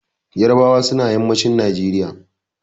Ƴarbawa suna yammacin Najeriya.